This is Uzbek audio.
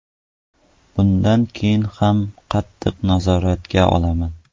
Bundan keyin ham qattiq nazoratga olaman.